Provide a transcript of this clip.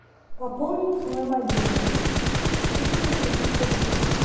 пополнить мой мобильный четыреста тридцать рублей